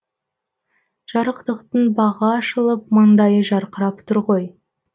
жарықтықтың бағы ашылып маңдайы жарқырап тұр ғой